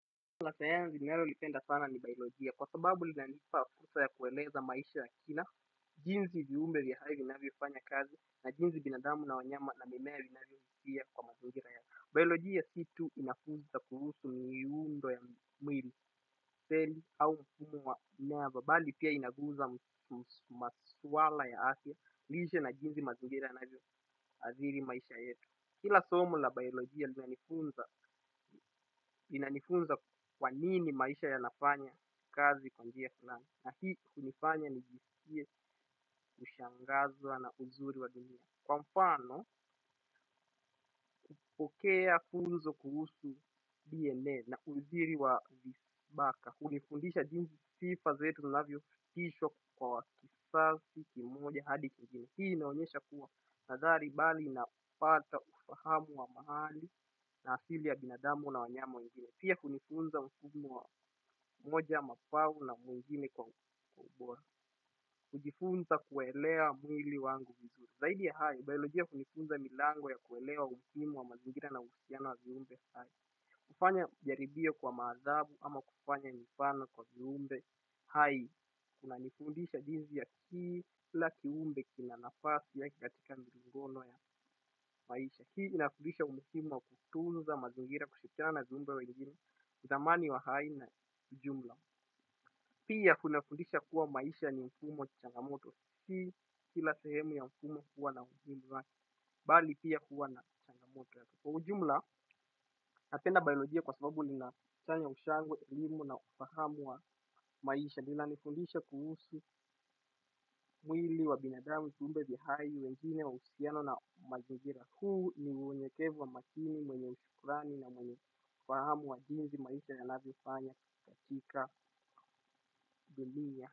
Lasayansi ninalolipenda sana ni baiolojia kwa sababu linalipa fursa ya kueleza maisha ya kina jinsi viumbe vya hai vinanvyofanya kazi i na jinsi binadamu na wanyama na mimea inavyovutia kwa mazingira ya biolojia situ inafunza kuhusu miundo ya mwili seli au mfumo wammea. Bali pia inafunza masuala ya afya lishe na jinsi mazingira yanvyoathiri maisha yetu. Kila somo la biolojia linanifunza linanifunza kwanini maisha yanafanya kazi kwa njia fulani lakini linanifanya nijisikie kushangazwa na uzuri wa dunia pokea funzo kuhusu DNA na urithi wa vinasaba hunifundisha jinsi sifa zetu zinavyo fundishwa kwa kizazi, kimoja, hadi kingine. Hii inaonyesha kuwa nadhani bali napata ufahamu wa mahali na asili ya binadamu na namfanyia mwinzio pia hunifunza huduma moja na nyingine kwa ubora. Kujifunza kuelewa mwili wangu vizuri. Zaidi ya hayo, biolojia hunifunza milango ya kuelewa umuhimu wa mazingira na uhusiano wa viumbe hai. Kufanya jaribio kwa mwanadamu ama kufanya mifano kwa viumbe hai. Kuna nifundisha jijinsii ya kila kiumbe kinanafasi yake katika milingano ya maisha hii inafundisha umuhimu wa kutunza mazingira kushirikiana na viumbe wengine thamani huwa haina jumla pia kunafundisha kuwa maisha ni mfumo changamoto sikila sehemu ya mfumo huwa na ushindi wake bali pia huwa na changamoto yake. Kwa ujumla napenda bailogia kwasababu ninafanya ushwangwe elimu na ufahamu wa maisha inanifundisha kuhusu mwili wa binandamu viumbe vya hai wengine uhusiano na mazingira huu ni uelekevu makini mwenye shukurani na mwenye ufahamu wa jinsi maisha yanavyofanya katika dunia.